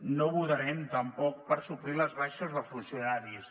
no votarem tampoc per suplir les baixes de funcionaris